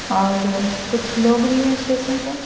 और कुछ लोग भी हैं स्टेशन पे--